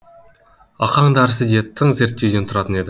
ақаң дәрісі де тың зерттеуден тұратын еді